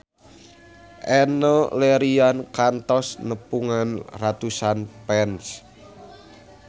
Enno Lerian kantos nepungan ratusan fans